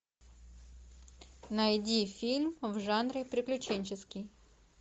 найди фильм в жанре приключенческий